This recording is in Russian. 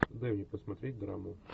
дай мне посмотреть драму